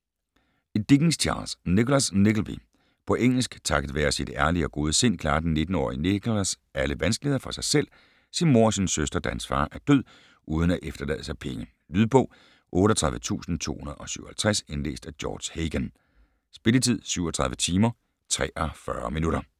Dickens, Charles: Nicholas Nickleby På engelsk. Takket være sit ærlige og gode sind klarer den 19-årige Nicholas alle vanskeligheder for sig selv, sin mor og sin søster, da hans far er død uden at efterlade sig penge. Lydbog 38257 Indlæst af George Hagan Spilletid: 37 timer, 43 minutter